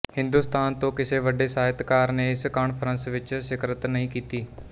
ਹਿੰਦੁਸਤਾਨ ਤੋਂ ਕਿਸੇ ਵੱਡੇ ਸਾਹਿਤਕਾਰ ਨੇ ਇਸ ਕਾਨਫਰੰਸ ਵਿੱਚ ਸ਼ਿਰਕਤ ਨਹੀਂ ਕੀਤੀ